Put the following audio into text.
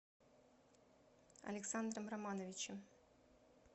александром романовичем